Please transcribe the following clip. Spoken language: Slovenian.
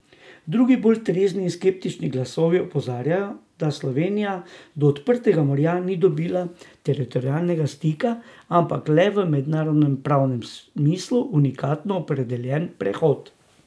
Drugi, bolj trezni in skeptični glasovi, opozarjajo, da Slovenija do odprtega morja ni dobila teritorialnega stika, ampak le v mednarodno pravnem smislu unikatno opredeljen prehod.